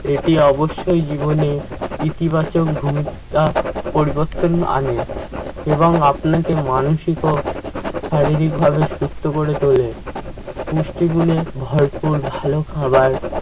এটি অবশ্যই জীবনে ইতিবাচক ভূমিকা পরিবর্তন আনে এবং আপনাকে মানসিক ও শারীরিক ভাবে সুস্থ করে তোলে। পুষ্টিগুণে ভরপুর ভালো খাবার